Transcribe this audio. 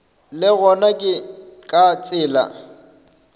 le gona ke ka tsela